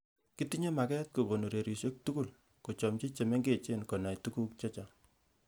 Kitinyei maket kokon ureriosiek tugul kochamci chemengech konai tuguk chechang